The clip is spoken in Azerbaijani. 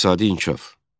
İqtisadi inkişaf.